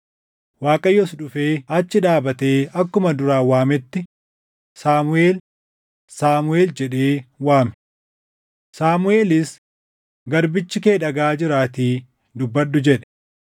Waaqayyos dhufee achi dhaabatee akkuma duraan waametti, “Saamuʼeel! Saamuʼeel!” jedhee waame. Saamuʼeelis, “Garbichi kee dhagaʼaa jiraatii dubbadhu” jedhe.